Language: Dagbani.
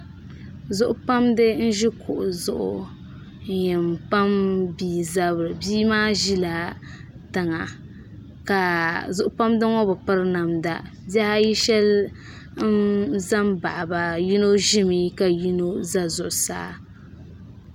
Zuɣu pamdi n ʒi kuɣu zuɣu n yɛn pam bia zabiri bia maa ʒila tiŋa ka zuɣu pamdi ŋo bi piri namda bihi ayi shab ʒɛ n baɣaba yino ʒimi ka yino ʒɛ zuɣusaa